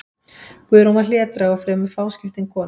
Guðrún var hlédræg og fremur fáskiptin kona.